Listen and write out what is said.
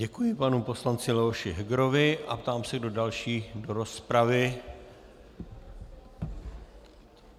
Děkuji panu poslanci Leoši Hegerovi a ptám se, kdo další do rozpravy.